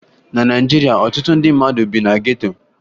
Na Naịjirịa, ọtụtụ ndị mmadụ bi na geto